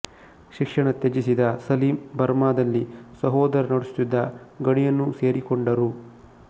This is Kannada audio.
ಶಿಕ್ಷಣ ತ್ಯಜಿಸಿದ ಸಲೀಂ ಬರ್ಮಾದಲ್ಲಿ ಸಹೋದರ ನಡೆಸುತಿದ್ದ ಗಣಿಯನ್ನು ಸೇರಿಕೊಂಡರು